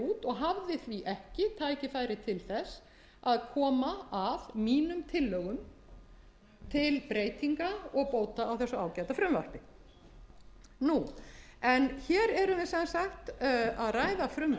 hafði því ekki tækifæri til þess að koma að mínum tillögum til breytinga og bóta á þessu ágæta frumvarpi hér erum við sem sagt að ræða frumvarp sem